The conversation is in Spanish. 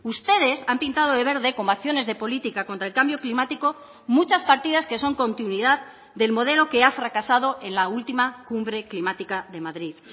ustedes han pintado de verde como acciones de política contra el cambio climático muchas partidas que son continuidad del modelo que ha fracasado en la última cumbre climática de madrid